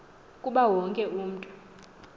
kuba wonke umntu